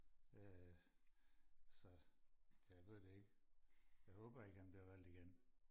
øh så jeg ved det ikke jeg håber ikke han bliver valgt igen